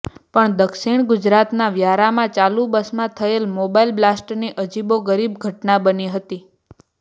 પણ દક્ષિણ ગુજરાતના વ્યારામાં ચાલુ બસમાં થયેલા મોબાઈલ બ્લાસ્ટની અજીબોગરીબ ઘટના બની હતી